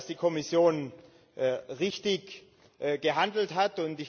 Ich glaube, dass die Kommission richtig gehandelt hat.